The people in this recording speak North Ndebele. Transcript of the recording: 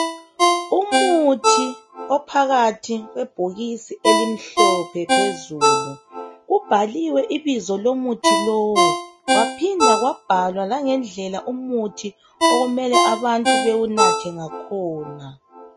Umuthi ophakathi kwebhokisi elimhlophe phezulu. Ubhaliwe ibizo lomuthi lowu. Kwaphinda kwabhalwa !angendlela okumele abantu bawunathe ngakhona.